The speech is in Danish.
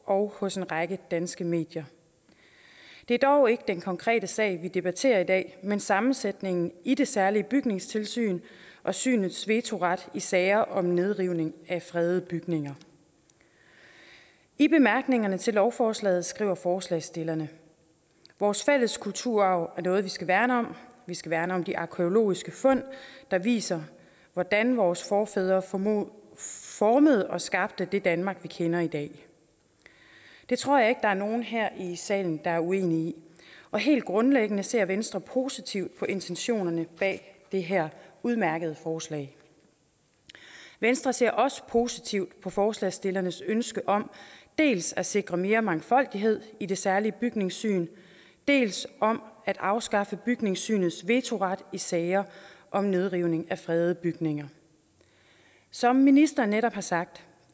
og hos en række danske medier det er dog ikke den konkrete sag vi debatterer i dag men sammensætningen i det særlige bygningssyn og synets vetoret i sager om nedrivning af fredede bygninger i bemærkningerne til lovforslaget skriver forslagsstillerne vores fælles kulturarv er noget vi skal værne om vi skal værne om de arkæologiske fund der viser hvordan vores forfædre formede formede og skabte det danmark vi kender i dag det tror jeg ikke er nogen her i salen der er uenige i og helt grundlæggende ser venstre positivt på intentionerne bag det her udmærkede forslag venstre ser også positivt på forslagsstillernes ønske om dels at sikre mere mangfoldighed i det særlige bygningssyn dels om at afskaffe bygningssynets vetoret i sager om nedrivning af fredede bygninger som ministeren netop har sagt